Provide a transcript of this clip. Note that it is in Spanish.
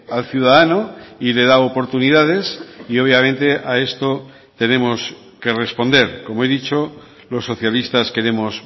al ciudadano y le da oportunidades y obviamente a esto tenemos que responder como he dicho los socialistas queremos